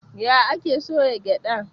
Ya ake soya gyaɗa?